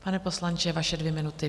Pane poslanče, vaše dvě minuty.